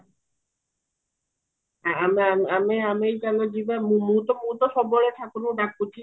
ଆମେ ଆମେ ଆମେ ଆମେ ଚାଲ ଯିବା ମୁଁ ତ ମୁଁ ତ ସବୁବେଳେ ଠାକୁରଙ୍କୁ ଡାକୁଚି